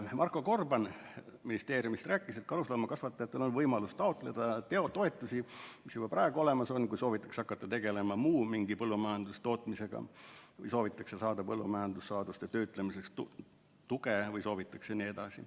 Marko Gorban ministeeriumist rääkis, et karusloomakasvatajatel on võimalus taotleda toetusi, mis juba praegu olemas on, kui soovitakse hakata tegelema mingi muu põllumajandustootmisega või soovitakse saada põllumajandussaaduste töötlemiseks tuge jne.